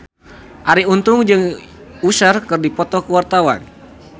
Arie Untung jeung Usher keur dipoto ku wartawan